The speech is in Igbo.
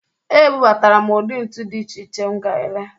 Ebutara m udị ntụ dị iche iche m ga-ere.